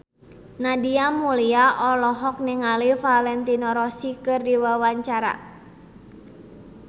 Nadia Mulya olohok ningali Valentino Rossi keur diwawancara